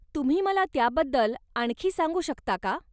तुम्ही मला त्याबद्दल आणखी सांगू शकता का?